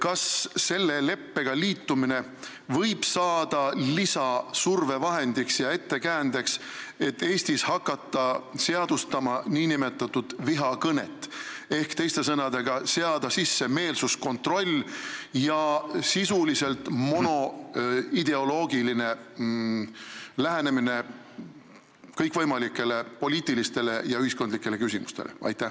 Kas selle leppega liitumine võib saada lisasurvevahendiks ja ettekäändeks, et Eestis hakata seadustama nn vihakõnet, teiste sõnadega, seada sisse meelsuskontroll ja sisuliselt monoideoloogiline lähenemine kõikvõimalikele poliitilistele ja ühiskondlikele küsimustele?